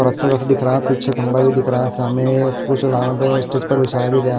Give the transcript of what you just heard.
और अच्छा ख़ासा दिख रहा है पीछे खम्भा भी दिख रहा है सामने स्टेज पर बिछाया भी गया।